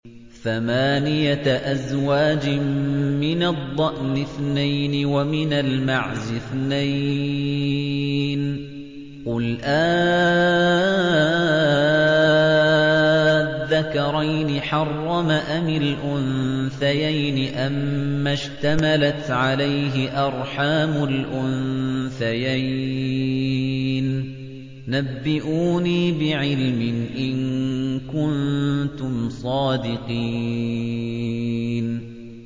ثَمَانِيَةَ أَزْوَاجٍ ۖ مِّنَ الضَّأْنِ اثْنَيْنِ وَمِنَ الْمَعْزِ اثْنَيْنِ ۗ قُلْ آلذَّكَرَيْنِ حَرَّمَ أَمِ الْأُنثَيَيْنِ أَمَّا اشْتَمَلَتْ عَلَيْهِ أَرْحَامُ الْأُنثَيَيْنِ ۖ نَبِّئُونِي بِعِلْمٍ إِن كُنتُمْ صَادِقِينَ